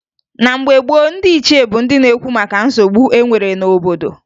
Na mgbe gboo, ndị ichie bụ ndị na-ekwu maka nsogbu e nwere n'obodo